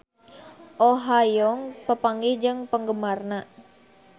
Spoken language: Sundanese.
Oh Ha Young papanggih jeung penggemarna